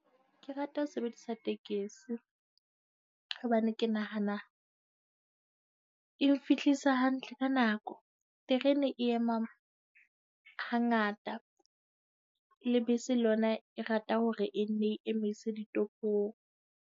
Ke rata ho sebedisa tekesi hobane ke nahana e mfihlisa hantle ka nako. Terene e ema hangata, le bese le yona e rata hore e nne e emise ditopong.